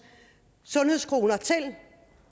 sundhedskroner